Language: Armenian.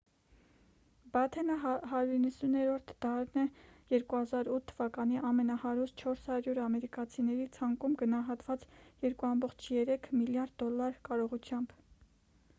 բաթենը 190-րդն է 2008 թվականի ամենահարուստ 400 ամերիկացիների ցանկում գնահատված 2,3 միլիարդ դոլար կարողությամբ